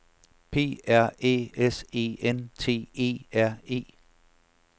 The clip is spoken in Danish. P R Æ S E N T E R E